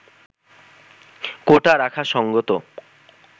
“কোটা রাখা সঙ্গত